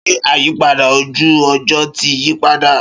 Ṣé àyípadà ojú ọjọ́ ti yí padà?